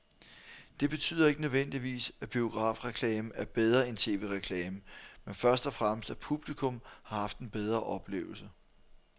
Det betyder ikke nødvendigvis, at biografreklamen er bedre end tv-reklamen, men først og fremmest at publikum har haft en bedre oplevelse.